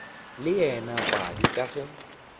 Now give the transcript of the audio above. le wena padi ka ge